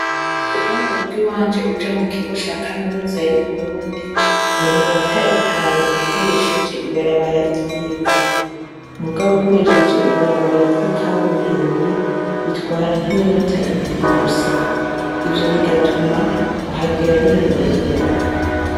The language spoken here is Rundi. Uva murugo iwanje uja mukigo cakaminuza yuburundi niminota itanu ukoresheje ibarabara ryivu mugabo ukoresheje ibarabara ryikaburimbi bitwara nkiminota ibiri gusa ivyo bigatuma kuhagera binyorohera